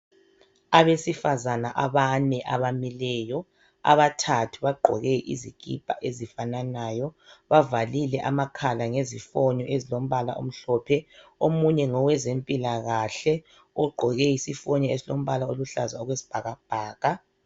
Abesifazane abane abamileyo, abathathu bagqoke izikipa ezifananayo bavalile amakhala ngezifonyo zombala omhlophe. Omunye ngowezempilakahle ogqoke isifonyo esilombala oluhlaza okwesibhakabhaka.